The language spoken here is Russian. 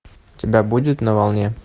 у тебя будет на волне